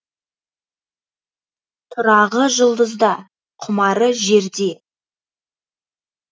тұрағы жұлдызда құмары жерде